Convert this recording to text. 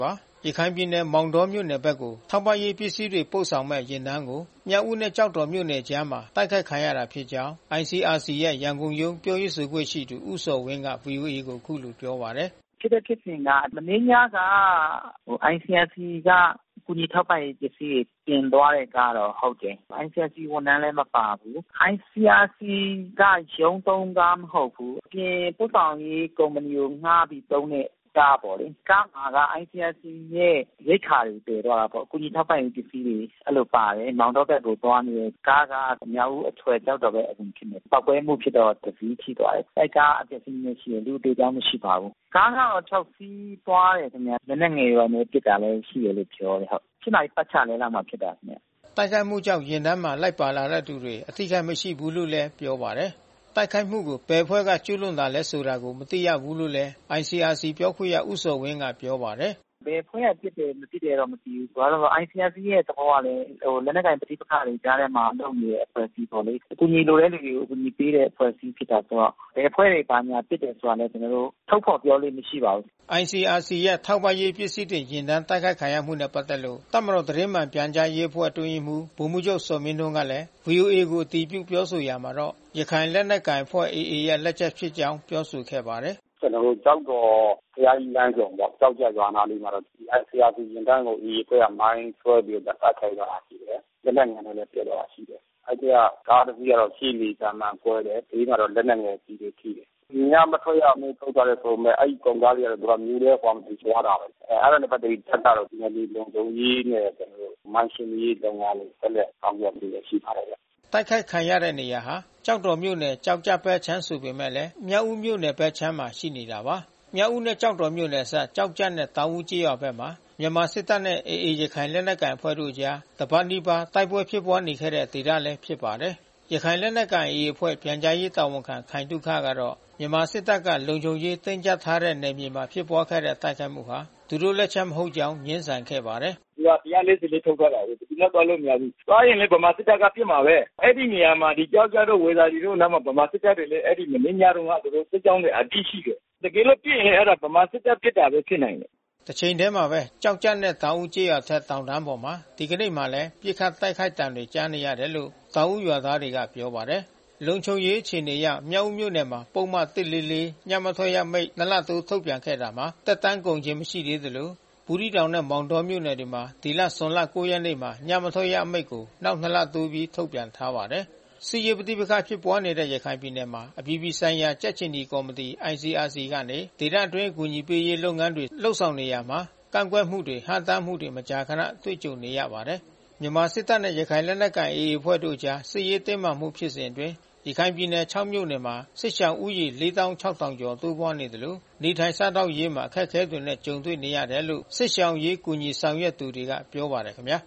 ပါတယ်။ ရခိုင်ပြည်နယ် မောင်တောမြို့နယ်ဘက်ကို ထောက်ပံ့ရေးပစ္စည်းတွေ ပို့ဆောင်မယ့် ယာဉ်တန်းကို မြောက်ဦးနဲ့ ကျောက်တော်မြို့နယ်ကြားမှာ တိုက်ခိုက်ခံခဲ့ရတာဖြစ်ကြောင်း ICRC ရဲ့ ရန်ကုန်ရုံး ပြောရေးဆိုခွင့်ရှိသူ ဦးဇော်ဝင်းက ဗွီအိုအေကို အခုလိုပြောပါတယ်။ “ဖြစ်တဲ့ဖြစ်စဉ်က မနေ့ညက ICRC က ကူညီထောက်ပံ့ရေး ပစ္စည်းတွေ တင်သွားတဲ့ကားတော့ ဟုတ်တယ်။ ICRC ဝန်ထမ်းလည်း မပါဘူး။ ICRC က ရုံးသုံးကား မဟုတ်ဘူး။ အပြင်ပို့ဆောင်ရေး ကုမ္ပဏီကို ငှါးပြီးသုံးတဲ့ ကားပေါ့လေ။ ကားမှာ က ICRC ရိက္ခာတွေ သယ်သွားတာပေါ့။ ကူညီထောက်ပံ့ရေး ပစ္စည်းတွေ အဲဒီလိုပါတယ်။ မောင်တောဘက်ကိုသွားတယ်။ ကားက မြောက်ဦးအထွက် ကျောက်တော်ဘက် အဝင် ဖြစ်မယ်။ ပေါက်ကွဲမှုဖြစ်တော့ တစီး ထိသွားတယ်။ အဲဒီကားက အပျက်အစီး နည်းနည်း ရှိတယ်။ လူအသေအပျောက် မရှိပါဘူး။ ကားက ခြောက် စီး သွားတယ်ခင်ဗျ။ လက်နက်ငယ်တွေလည်း ပစ်တာ ရှိတယ်လို့ပြောတယ်။ ၈ နာရီပတ်ချာလည်လောက်မှာ ဖြစ်တာ။” တိုက်ခိုက်မှုကြောင့် ယာဉ်တန်းမှာ လိုက်ပါလာသူတွေ အထိအခိုက် မရှိခဲ့ဘူးလို့လည်း ပြောပါတယ်။ တိုက်ခိုက်မှုကို ဘယ်အဖွဲ့က ကျူးလွန်တာလည်း ဆိုတာကို မသိရဘူးလို့လည်း ICRC ပြောခွင့်ရ ဦးဇော်ဝင်း က ပြောပါတယ်။ “ဘယ်အဖွဲ့က ပစ်တယ် မသိတော့ မသိဘူး။ ICRC ရဲ့ သဘောကလည်း လက်နက်ကိုင်ပဋိပက္ခကြားထဲမှာ လုပ်နေတဲ့ အဖွဲ့ပေါ့လေ။ အကူညီလိုတဲ့ လူတွေကို အကူညီပေးတဲ့အဖွဲ့အစည်း ဖြစ်တယ်ဆိုတော့။ ဘယ်အဖွဲ့တွေ ဘာညာပစ်တယ်ဆိုတာလည်း ကျနော်တို့ ထုတ်ဖေါ်ပြောလေ့ မရှိပါဘူး။” ICRC ရဲ့ ထောက်ပံ့ရေးပစ္စည်းတင် ယာဉ်တန်း တိုက်ခိုက်ခံရမှုနဲ့ ပက်သက်လို့ တပ်မတော်သတင်းမှန်ပြန်ကြားရေးအဖွဲ့ အတွင်းရေးမှူး ဗိုလ်မှူးချုပ်ဇော်မင်းထွန်းကလည်း ဗွီအိုအေကို အတည်ပြုပြောဆိုရာမှာတော့ ရခိုင်လက်နက်ကိုင်အဖွဲ့ AA ရဲ့ လက်ချက်ဖြစ်ကြောင်း ပြောဆိုခဲ့ပါတယ်။ “ကျနော်တို့ ကျောက်တော်ဘုရားကြီး လမ်းဆုံပေါ့။ ကျောက်ကျပ်ရွာနားလေးမှာ။ ICRC ယာဉ်တန်းကို AA အဖွဲ့က မိုင်းခွဲပြီးတော့ တိုက်ခိုက်သွားတာ ရှိတယ်။ လက်နက်ငယ်နဲ့လည်း ပစ်သွားတာရှိတယ်။ အဲဒီအထဲကတော့ ကား တစီး ရှေ့နေကာမှန်ကွဲတာ ရှိတယ်။ ဘေးမှာတော့ လက်နက်ငယ်ကျည်တွေ ထိတယ်။ ညမထွက်ရအမိန့်တွေ ထုတ်ထားတယ်ဆိုပေမဲ့ အဲဒီကုန်ကားတွေက မြို့ထဲကို သွားမယ်ဆို သွားတာပဲ။ အဲတာနဲ့ ပတ်သက်ပြီးတပ်ကတော့ နယ်မြေလုံခြုံရေးနဲ့ ကျနော်တို့ မိုင်းရှင်းလင်းရေးလုပ်ငန်းတွေ ဆက်လက် ဆောင်ရွက်နေတာ ရှိပါတယ်ဗျ။” တိုက်ခိုက်ခံရတဲ့နေရာဟာ ကျောက်တော် ကျောက်ကျပ်ဘက်ဆိုပေမဲ့ မြောက်ဦးဘက်အခြမ်းမှာ ရှိနေတာပါ။ မြောက်ဦးနဲ့ ကျောက်တော်မြို့နယ်အစပ် ကျောက်ကျပ်နဲ့ တောင်ဦးကျေးရွာဘက်မှာ မြန်မာစစ်တပ်နဲ့ AA ရခိုင်လက်နက်ကိုင်အဖွဲ့တို့အကြား တပတ်နီးပါး တိုက်ပွဲဖြစ်ပွားနေခဲ့တဲ့ ဒေသလည်း ဖြစ်ပါတယ်။ ရခိုင်လက်နက်ကိုင် AA အဖွဲ့ ပြန်ကြားရေးတာဝန်ခံခိုင်သုခကတော့ မြန်မာစစ်တပ်က လုံခြုံရေးတင်းကျပ်ထားတဲ့ နယ်မြေမှာ ဖြစ်ပွားတဲ့ တိုက်ခိုက်မှုဟာ သူတို့လက်ချက် မဟုတ်ကြောင်း ငြင်းဆန်ခဲ့ပါတယ်။ “သူက ၁၄၄ ထုတ်ထားတယ်လေ။ ဘယ်သူမှ သွားလို့မရဘူး။ သွားရင်လည်း ဗမာစစ်တပ်က ပစ်မှာပဲ။ အဲဒီနေရာမှာ ကျောက်ကျပ်တို့၊ ဝေသာလီတို့အနားမှာ ဗမာစစ်တပ်တွေ အဲဒီမနေ့ညတုန်းက သူတို့စစ်ကြောင်းတွေ အပြည့် ရှိတယ်။ တကယ်လို့ ပစ်ရင် အဲတာဗမာစစ်တပ်ပစ်တာပဲ ဖြစ်နိုင်တယ်။” တချိန်တည်းမှာပဲ ကျောက်ကျပ်နဲ့ တောင်ဦးကျေးရွာအထက် တောင်တန်းပေါ်မှာ ဒီကနေ့လည်း ပစ်ခတ်တိုက်ခိုက်သံတွေ ကြားနေရတယ်လို့ တောင်ဦးရွာသားတွေက ပြောပါတယ်။ လုံခြုံရေးအခြေအနေအရ မြောက်ဦးမြို့နယ်မှာ ပုဒ်မ ၁၄၄ ညမထွက်ရအမိန့် နှစ်လ တိုးထုတ်ပြန်ခဲ့တာ သက်တမ်းကုန်ခြင်း မရှိသေးသလို ဘူးသီးတောင်နဲ့ မောင်းတောမြို့နယ်တွေမှာ ဒီဇွန်လ ၉ ရက်နေ့မှာ ညမထွက်ရ အမိန့်ကို နောက် နှစ်လ တိုးပြီး ထုတ်ပြန်ထားပါတယ်။ စစ်ရေးပဋိပက္ခဖြစ်ပွားနေတဲ့ ရခိုင်ပြည်နယ်မှာ အပြည်ပြည်ဆိုင်ရာ ကြက်ခြေနီကော်မတီ ICRC ကနေ ဒေသအတွင်း အကူအညီပေးရေး လုပ်ငန်းတွေ လုပ်ဆောင်နေရာမှာ ကန့်ကွက်မှု ဟန့်တားမှုတွေ မကြာခဏ တွေ့ကြုံနေရပါတယ်။ မြန်မာစစ်တပ်နဲ့ ရခိုင်လက်နက်ကိုင် AA တို့အကြား စစ်ရေးတင်းမာနေမှုဖြစ်စဉ်အတွင်း ရခိုင်ပြည်နယ် ခြောက် မြို့နယ်မှာ စစ်ရှောင်ဦးရေ ၄၆,၀၀၀ ကျော် တိုးပွားလာနေသလို စားသောက်နေထိုင်ရေးမှာ အခက်ခဲတွေနဲ့ ကြုံတွေ့နေရတယ်လို့လည်း စစ်ရှောင်အရေးကူညီ ဆောင်ရွက်သူတွေက ပြောပါတယ်ခင်ဗျာ